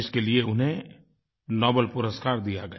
जिसके लिए उन्हें नोबल पुरस्कार दिया गया